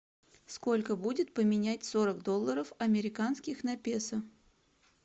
сколько будет поменять сорок долларов американских на песо